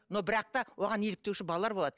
но бірақ та оған еліктеуші балалар болады